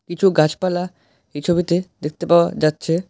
কিছু গাছপালা এই ছবিতে দেখতে পাওয়া যাচ্ছে।